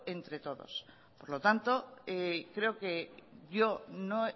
entre todos por lo tanto creo que yo no